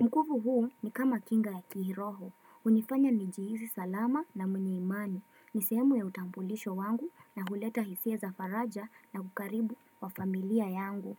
Mkufu huu ni kama kinga ya kihiroho, unifanya nijihisi salama na mwenye imani Nisemu ya utampulisho wangu na huleta hisia za faraja na kukaribu wa familia yangu.